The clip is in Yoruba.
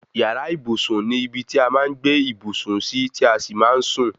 Yàrá ìbùsùn ni ibi tí a máa ń gbé ìbùsùn sí tí a sì máa ń sún